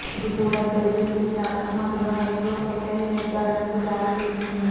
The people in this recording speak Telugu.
ఇది కూడా బ్రెజిల్ కేసులో అకస్మాత్తుగా మైక్రోసెఫోలే నిర్ధారణకు దారి తీస్తుంది